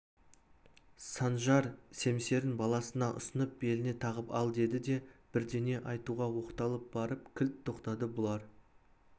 саржан семсерін баласына ұсынып беліңе тағып ал деді де бірдеңе айтуға оқталып барып кілт тоқтады бұлар